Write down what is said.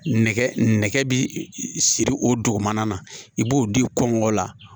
Nɛgɛ nɛgɛ bi siri o dugumana na i b'o di kɔngɔ la